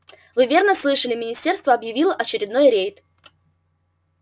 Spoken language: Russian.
вы верно слышали министерство объявило очередной рейд